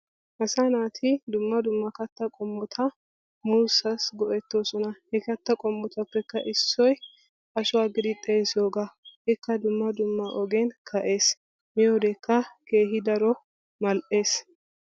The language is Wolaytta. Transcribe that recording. Asaa naati dumma dumma kattaa qommota muussaassi go'ettoosona. He katta qommotuppekka Issoyi ashuwa giidi xeesiyogaa. Ikka dumma dumma ogiyan ka"es. Miyodekka keehi daro mall'es.